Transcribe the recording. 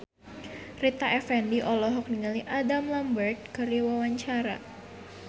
Rita Effendy olohok ningali Adam Lambert keur diwawancara